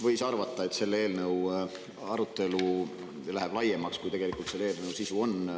Võiski arvata, et selle eelnõu arutelu läheb laiemaks, kui selle eelnõu sisu on.